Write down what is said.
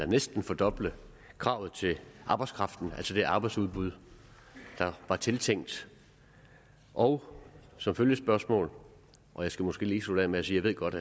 næsten at fordoble kravet til arbejdskraften altså det arbejdsudbud der var tiltænkt og som følgespørgsmål og jeg skal måske lige slutte af med at sige at jeg godt